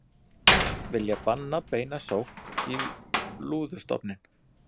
Vilja banna beina sókn í lúðustofninn